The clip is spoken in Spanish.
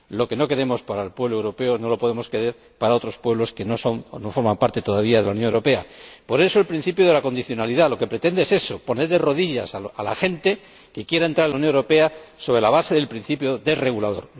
Lo que no queremos para el pueblo europeo no lo podemos querer para otros pueblos que no forman parte todavía de la Unión Europea. Por eso el principio de la condicionalidad lo que pretende es eso poner de rodillas a la gente que quiera entrar en la Unión Europea sobre la base del principio desregulador.